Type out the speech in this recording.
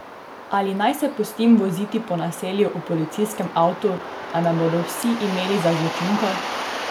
Ali naj se pustim voziti po naselju v policijskem avtu, da me bodo vsi imeli za zločinko?